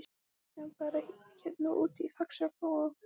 Kristján: Bara hérna úti í Faxaflóa?